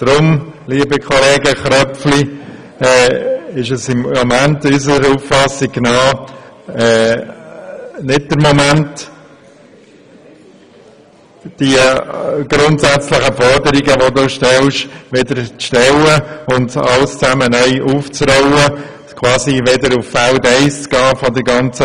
Deshalb, lieber Herr Kollege Köpfli, ist es gemäss unserer Auffassung nicht der richtige Moment, um solche grundsätzlichen Forderungen zu stellen und alles neu aufzurollen und quasi wieder auf Feld 1 zurückzukehren.